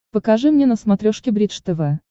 покажи мне на смотрешке бридж тв